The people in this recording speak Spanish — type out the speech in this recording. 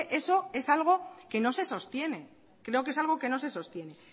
es eso algo que no se sostiene